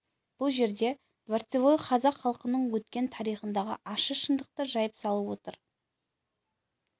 бұл жерде дворцевой қазақ халқының өткен тарихындағы ащы шындықты жайып салып отыр